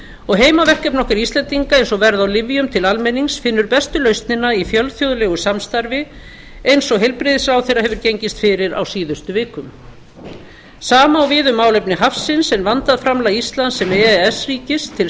og heimaverkefni okkar íslendinga eins og verð á lyfjum til almennings finnur bestu lausnina í fjölþjóðlegu samstarfi eins og heilbrigðisráðherra hefur gengist fyrir á síðustu vikum sama á við um málefni hafsins en vandað framlag íslands sem e e s ríkis til